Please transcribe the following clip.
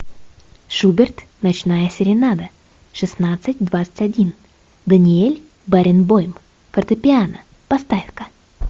шуберт ночная серенада шестнадцать двадцать один даниэль баренбойм фортепиано поставь ка